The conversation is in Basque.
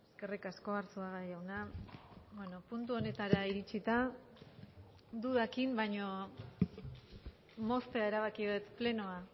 eskerrik asko arzuaga jauna puntu honetara iritzita dudekin baino moztea erabaki dut plenoa